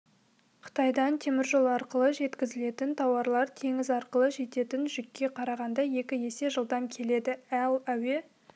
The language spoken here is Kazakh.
қытайдан теміржол арқылы жеткізілетін тауарлар теңіз арқылы жететін жүкке қарағанда екі есе жылдам келеді ал әуе